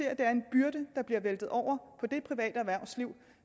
at det er en byrde der bliver væltet over på det private erhvervsliv